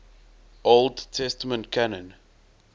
old testament canon